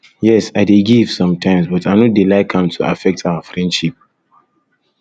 yes i dey give sometimes but i no dey like am to affect our friendship